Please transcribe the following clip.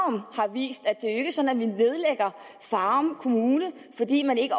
vi nedlægger farum kommune fordi den ikke